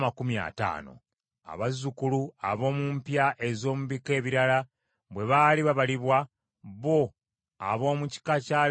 Abazzukulu ab’omu mpya ez’omu bika ebirala bwe baali babalibwa, bo ab’omu kika kya Leevi tebaabalibwa.